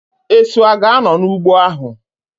Esu a ga-anọ n'ụgbọ ahu?